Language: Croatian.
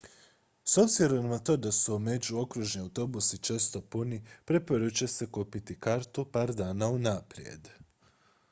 s obzirom na to da su međuokružni autobusi često puni preporučuje se kupiti kartu par dana unaprijed